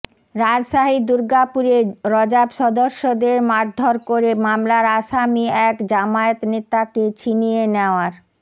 রাজশাহীর দুর্গাপুরে র্যাব সদস্যদের মারধর করে মামলার আসামি এক জামায়াত নেতাকে ছিনিয়ে নেওয়ার